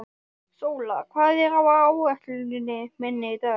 Sóla, hvað er á áætluninni minni í dag?